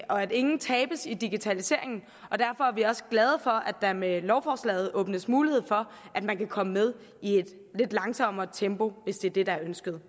og at ingen tabes i digitaliseringen og derfor er vi også glade for at der med lovforslaget åbnes mulighed for at man kan komme med i et lidt langsommere tempo hvis det er det der er ønsket